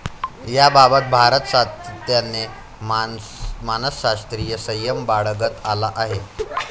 याबाबत भारत सातत्याने मानसशास्रीय संयम बाळगत आला आहे.